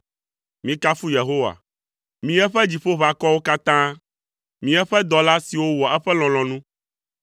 Mikafu Yehowa, mi eƒe dziƒoʋakɔwo katã, mi eƒe dɔla siwo wɔa eƒe lɔlɔ̃nu.